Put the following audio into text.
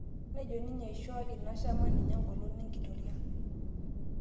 Nejo ninye eishoo in shama ninye engolon enkitoria